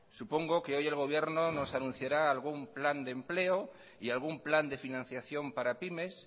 supongo que hoy el gobierno nos anunciará algún plan de empleo y algún plan de financiación para pymes